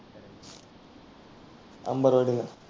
अंबरवाडीला.